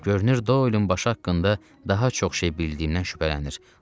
Görünür, Doylun başı haqqında daha çox şey bildiyindən şübhələnir.